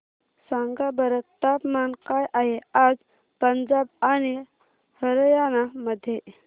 सांगा बरं तापमान काय आहे आज पंजाब आणि हरयाणा मध्ये